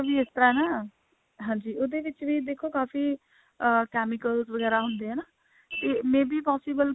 ਵੀ ਇਸ ਤਰ੍ਹਾਂ ਨਾ ਹਾਂਜੀ ਇਹਦੇ ਵਿੱਚ ਵੀ ਦੇਖੋ ਕਾਫੀ ਅਹ chemicals ਵਗੈਰਾ ਹੁੰਦੇ ਹੈ ਨਾ ਤੇ may be possible ਕਿ